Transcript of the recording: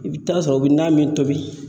I bɛ taa sɔrɔ u bɛ na min tobi